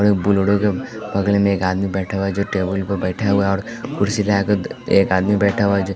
बगल में एक आदमी बैठा हुआ है जो टेबल पर बैठा हुआ है और कुर्सी लगाकर एक आदमी बैठा हुआ है जो--